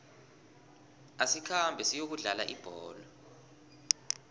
asikhambe siyokudlala ibholo